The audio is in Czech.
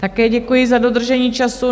Také děkuji za dodržení času.